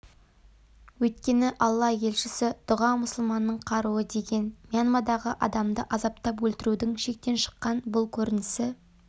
өйткені алла елшісі дұға мұсылманның қаруы деген мьянмадағы адамды азаптап өлтірудің шектен шыққан бұл көрінісі